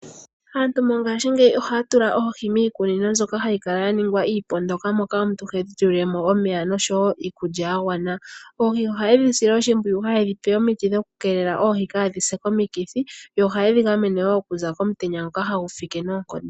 Aantu mongaashingeyi ohaya tula oohi miikunino mbyoka hayi kala yaningwa iipondoka moka omuntu hedhi tulile mo omeya nosho woo iikulya ya gwana. Oohi ohaye dhi sile oshimpwiyu, haye dhi pe omiti dhokukeelela oohi kaa dhi se komukithi , yo ohaye dhi gamene woo oku za komutenya ngoka hagu fike noonkondo.